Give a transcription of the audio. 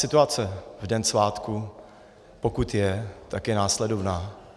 Situace v den svátků, pokud je, tak je následovná.